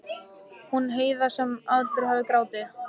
Hún Heiða sem aldrei hafði grátið.